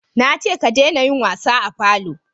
na ce ka dena yin wasa a falo!